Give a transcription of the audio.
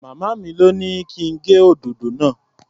Màmá mi lọ́ ní kí n gé òdòdó náà.